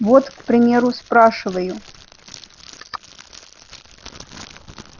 вот к примеру спрашиваю